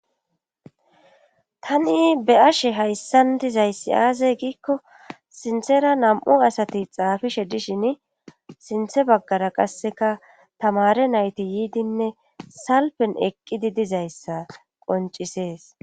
Tani be ashe hayssan dizayssi aasey giikko sinthera nam7u asati xaafishe dishin sinthe baggara qasseka tamare nayti yiidinne salpen eqqidi dizayssa qoncisees